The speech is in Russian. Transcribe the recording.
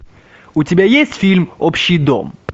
у тебя есть фильм общий дом